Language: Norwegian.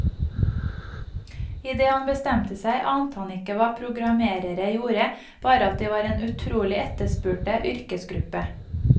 I det han bestemte seg, ante han ikke hva programmerere gjorde, bare at de var en utrolig etterspurte yrkesgruppe.